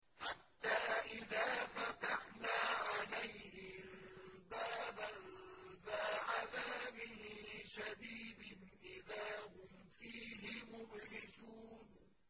حَتَّىٰ إِذَا فَتَحْنَا عَلَيْهِم بَابًا ذَا عَذَابٍ شَدِيدٍ إِذَا هُمْ فِيهِ مُبْلِسُونَ